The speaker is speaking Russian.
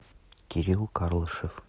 кирилл карлышев